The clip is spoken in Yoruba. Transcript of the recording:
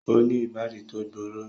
O ni ibadi to gbooro